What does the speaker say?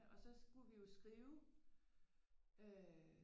Og så skulle vi jo skrive øh